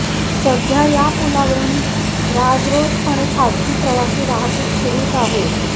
सध्या या पुलावरून राजरोसपणे खासगी प्रवासी वाहतूक सुरूच आहे